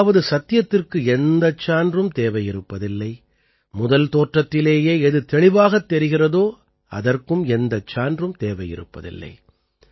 அதாவது சத்தியத்திற்கு எந்தச் சான்றும் தேவையிருப்பதில்லை முதல் தோற்றத்திலேயே எது தெளிவாகத் தெரிகிறதோ அதற்கும் எந்தச் சான்றும் தேவையிருப்பதில்லை